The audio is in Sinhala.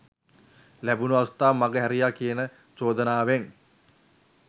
ලැබුනු අවස්ථාව මඟ හැරියා කියන චෝදනාවෙන්